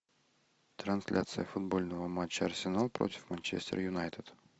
трансляция футбольного матча арсенал против манчестер юнайтед